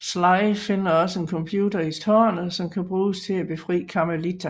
Sly finder også en computer i tårnet som kan bruges til at befri Carmelita